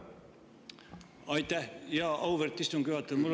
Aitäh, auväärt istungi juhataja!